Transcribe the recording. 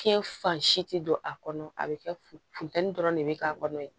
Fiɲɛ fan si ti don a kɔnɔ a be kɛ funu funteni dɔrɔn de be k'a kɔnɔ ye